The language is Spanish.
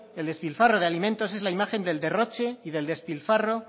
el despilfarro de alimentos es la imagen del derroche y del despilfarro